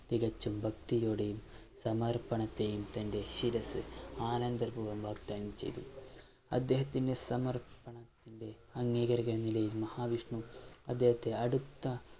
തികച്ചും ഭക്തിയോടെയും സമർപ്പണത്തെയും തന്റെ ശിരസ്സ് ആനന്ദപൂർവം വാഗ്ദാനം ചെയ്തു. അദ്ദേഹനത്തിന്റെ സമർപ്പണത്തിന്റെ അംഗീകാരം എന്ന നിലയിൽ മഹാവിഷ്‌ണു അദ്ദേഹത്തെ അടുത്ത